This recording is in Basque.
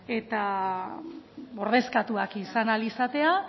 eta ordezkatuak izan ahal izatea